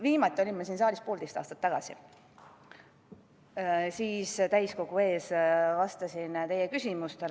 Viimati olin ma siin saalis poolteist aastat tagasi ja vastasin täiskogu ees teie küsimustele.